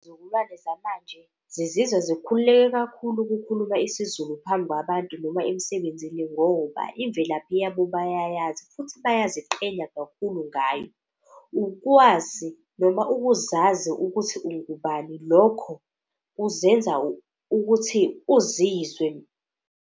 Izizukulwane zamanje zizizwa zikhululekile kakhulu ukukhuluma isiZulu phambi kwabantu noma emsebenzini. Ngoba imvelaphi yabo bayayazi futhi bayaziqheya kakhulu ngayo. Ukwazi noma ukuzazi ukuthi ungubani lokho kuzenza ukuthi uzizwe.